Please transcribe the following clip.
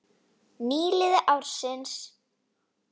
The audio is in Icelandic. Nýliði ársins